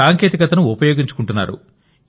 సాంకేతికతను ఉపయోగించుకుంటున్నారు